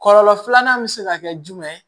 Kɔlɔlɔ filanan bɛ se ka kɛ jumɛn ye